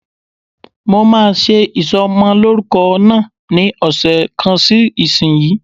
Mo máa ṣe ìsọmọlórúkọ náà ní ọ̀sẹ̀ kan sí ìsínyìí.